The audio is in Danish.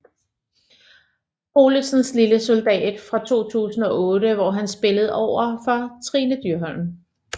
Olesens Lille soldat fra 2008 hvor han spillede overfor Trine Dyrholm